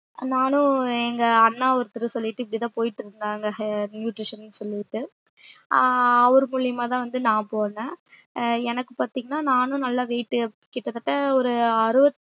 நானும் எங்க அண்ணாவும் ஒருத்தர் சொல்லிட்டு இப்டி போய்ட்டு இருந்தாங்க nutrition னு சொல்லிட்டு ஆஹ் அவர் மூலியமா தான் வந்து நா போனேன் எனக்கு பாத்திங்னா நானும் நல்லா weight கிட்டதட்ட ஒரு அறுவத்